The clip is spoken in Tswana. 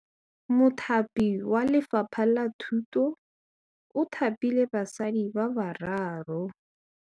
Mothapi wa Lefapha la Thutô o thapile basadi ba ba raro.